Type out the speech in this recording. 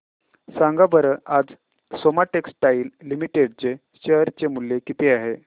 सांगा बरं आज सोमा टेक्सटाइल लिमिटेड चे शेअर चे मूल्य किती आहे